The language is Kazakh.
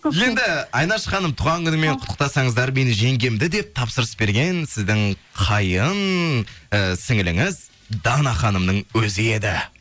енді айнаш ханым туған күнімен құттықсаңыздар менің жеңгемді деп тапсырыс берген сіздің қайын і сіңліліңіз дана ханымның өзі еді